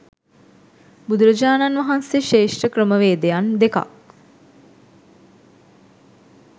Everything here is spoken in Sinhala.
බුදුරජාණන් වහන්සේ ශ්‍රේෂ්ඨ ක්‍රමවේදයන් දෙකක්